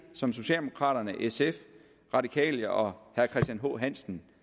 som socialdemokraterne sf radikale og herre christian h hansen